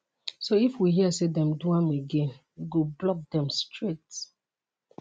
so if we hear say dem do am again we go block dem straight